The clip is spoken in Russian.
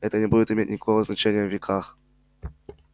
это не будет иметь никакого значения в веках